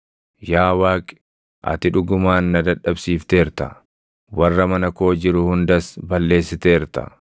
Yaa Waaqi, ati dhugumaan na dadhabsiifteerta; warra mana koo jiru hundas balleessiteerta.